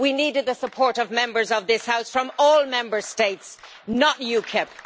We needed the support of Members of this House from all Member States not UKIP.